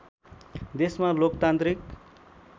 देशमा लोकतान्त्रिक